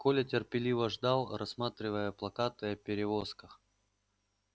коля терпеливо ждал рассматривая плакаты о перевозках